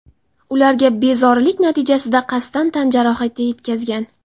ularga bezorilik natijasida qasddan tan jarohati yetkazgan.